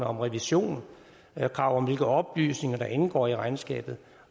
om revision krav om hvilke oplysninger der indgår i regnskabet